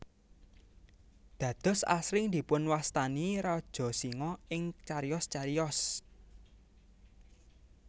Dados asring dipunwastani Raja Singa ing cariyos cariyos